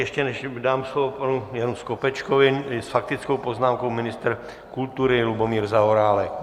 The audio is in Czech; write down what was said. Ještě než dám slovo panu Janu Skopečkovi, s faktickou poznámkou ministr kultury Lubomír Zaorálek.